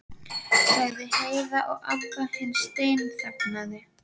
sagði Heiða og Abba hin steinþagnaði.